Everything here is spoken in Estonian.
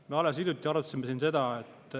Me alles hiljuti arutasime siin seda …